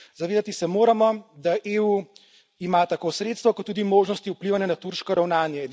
Zavedati se moramo, da EU ima tako sredstva kot tudi možnosti vplivanja na turško ravnanje.